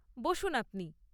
বসুন আপনি।